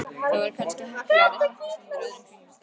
Það væri kannski heppilegra að hittast undir öðrum kringumstæðum